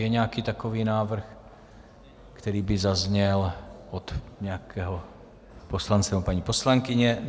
Je nějaký takový návrh, který by zazněl od nějakého poslance nebo paní poslankyně?